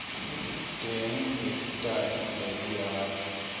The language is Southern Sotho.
teng mefuta e mmedi ya